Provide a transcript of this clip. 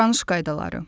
Davranış qaydaları.